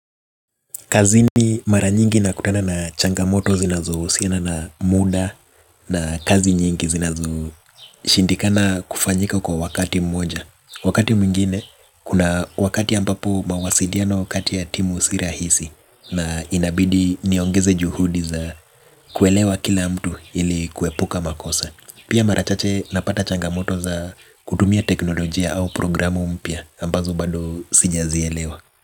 Kazini mara nyingi na kutana na changamoto zinazohusiana na muda na kazi nyingi zinazo shindikana kufanyika kwa wakati mmoja. Wakati mwingine, kuna wakati ambapo mawasiliano kati ya timu si rahisi na inabidi niongeze juhudi za kuelewa kila mtu ili kuepuka makosa. Pia marachache napata changamoto za kutumia teknolojia au programu mpya ambazo bado sijazielewa.